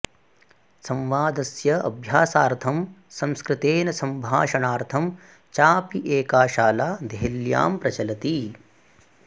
संवादस्य अभ्यासार्थं संस्कृतेन सम्भाषणार्थं चाऽपि एका शाला देहल्यां प्रचलति